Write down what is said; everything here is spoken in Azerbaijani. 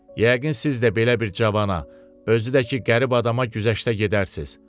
Yəqin siz də belə bir cavana, özü də ki qərib adama güzəştə gedərsiz.